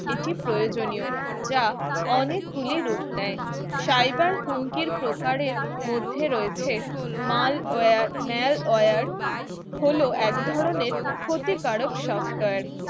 এটি প্রয়োজনীয় যা অনেকগুলি রূপ নেয়, cyber হুমকির প্রকারের মধ্যে রয়েছে malware malware হল এক ধরনের ক্ষতিকারক software